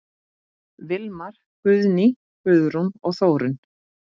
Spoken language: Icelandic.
Vilmar, Guðný, Guðrún og Þórunn.